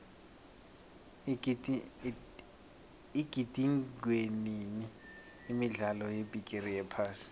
igidingwenini imidlalo yebigiri yephasi